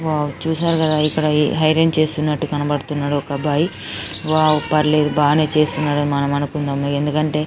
wow చూసారు కదా ఇక్కడ ఐరన్ చేస్తున్నారు కనిపిస్తున్నాడు ఒక అబ్బాయి వావ్ పర్లేదు బనే చేస్తున్నాడు అని మనం అనుకుందాం--